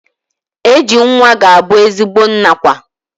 AG nwa ga-abu ezigbo nna kwa.